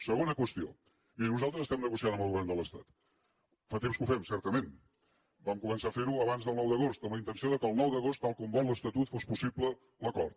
segona qüestió miri nosaltres estem negociant amb el govern de l’estat fa temps que ho fem certament vam començar a fer·ho abans del nou d’agost amb la inten·ció que el nou d’agost tal com vol l’estatut fos possible l’acord